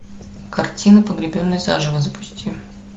картина погребенный заживо запусти